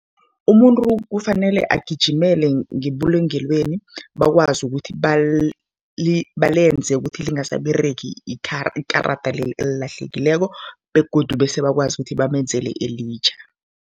Umuntu kufanele agijimele ngebulungelweni bakwazi ukuthi balenze ukuthi lingasababeregi ikarada leli elilahlekileko begodu bese bakwazi ukuthi bamenzele elitjha.